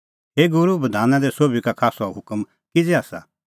हे गूरू बधाना दी सोभी का खास हुकम किज़ै आसा